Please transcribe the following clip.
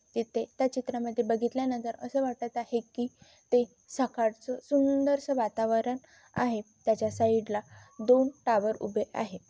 एथे त्या चित्रा मध्ये बघितल्या नंतर असे वाटत आहेकी ते सकाळच सुंदरस वातावरण आहे त्याच्या साइडला दोन टावर उभे आहेत.